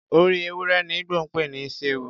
Orí ewúrẹ ni Igbo ń pè ní isi ewu.